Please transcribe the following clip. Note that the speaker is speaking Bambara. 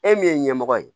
E min ye ɲɛmɔgɔ ye